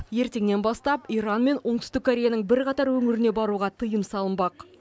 ертеңнен бастап иран мен оңтүстік кореяның бірқатар өңіріне баруға тыйым салынбақ